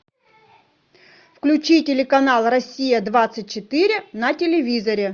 включи телеканал россия двадцать четыре на телевизоре